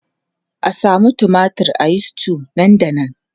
A samu tumatir a yi stew nan da nan!